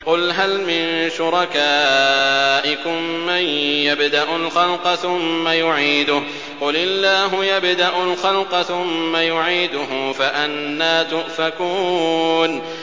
قُلْ هَلْ مِن شُرَكَائِكُم مَّن يَبْدَأُ الْخَلْقَ ثُمَّ يُعِيدُهُ ۚ قُلِ اللَّهُ يَبْدَأُ الْخَلْقَ ثُمَّ يُعِيدُهُ ۖ فَأَنَّىٰ تُؤْفَكُونَ